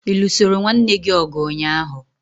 Ị lụsoro nwanne gị ọgụ ụnyaahụ?